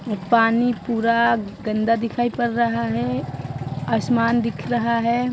ये पानी पूरा गन्दा दिखाई पर रहा है आसमान दिख रहा है।